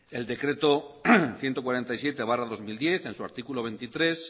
el decreto ciento cuarenta y siete barra dos mil diez en su artículo veintitrés